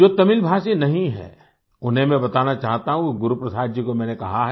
जो तमिलभाषी नहीं हैं उन्हें मैं बताना चाहता हूँ गुरुप्रसाद जी को मैंने कहा है